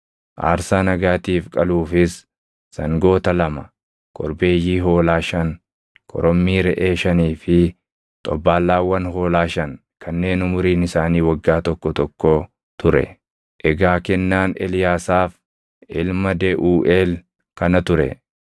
aarsaa nagaatiif qaluufis sangoota lama, korbeeyyii hoolaa shan, korommii reʼee shanii fi xobbaallaawwan hoolaa shan kanneen umuriin isaanii waggaa tokko tokkoo ture. Egaa kennaan Eliyaasaaf ilma Deʼuuʼeel kana ture.